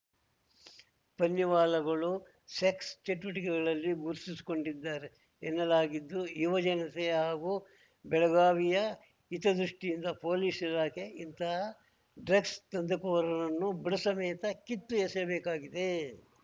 ಪನ್ನಿವಾಲಾಗಳು sex ಚಟುವಟಿಕೆಗಳಲ್ಲಿ ಗುರುತಿಸಿಕೊಂಡಿದ್ದಾರೆ ಎನ್ನಲಾಗಿದ್ದು ಯುವ ಜನತೆಯ ಹಾಗೂ ಬೆಳಗಾವಿಯ ಹಿತದೃಷ್ಟಿಯಿಂದ ಪೊಲೀಸ್‌ ಇಲಾಖೆ ಇಂತಹ ಡ್ರಗ್ಸ್‌ ದಂಧೆಕೋರರನ್ನು ಬುಡಸಮೇತ ಕಿತ್ತು ಎಸೆಯಬೇಕಾಗಿದೆ